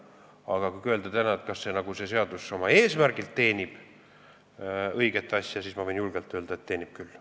Aga kui küsida, kas see seadus oma eesmärgilt teenib õiget asja, siis ma võin julgelt öelda, et teenib küll.